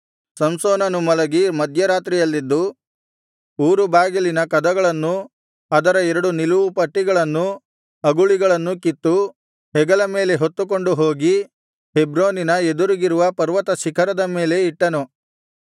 ಸಂಸೋನನು ಮಲಗಿ ಮಧ್ಯರಾತ್ರಿಯಲ್ಲೆದ್ದು ಊರು ಬಾಗಿಲಿನ ಕದಗಳನ್ನೂ ಅದರ ಎರಡು ನಿಲುವುಪಟ್ಟಿಗಳನ್ನೂ ಅಗುಳಿಗಳನ್ನೂ ಕಿತ್ತು ಹೆಗಲ ಮೇಲೆ ಹೊತ್ತುಕೊಂಡು ಹೋಗಿ ಹೆಬ್ರೋನಿನ ಎದುರಿಗಿರುವ ಪರ್ವತ ಶಿಖರದ ಮೇಲೆ ಇಟ್ಟನು